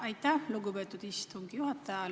Aitäh, lugupeetud istungi juhataja!